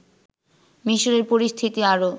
মিশরের পরিস্থিতি আরও